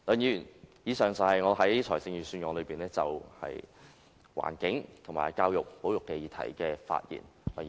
以上是我就預算案對環境、教育和保育議題的發言。